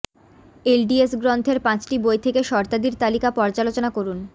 LDS গ্রন্থের পাঁচটি বই থেকে শর্তাদির তালিকা পর্যালোচনা করুন